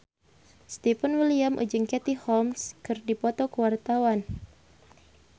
Stefan William jeung Katie Holmes keur dipoto ku wartawan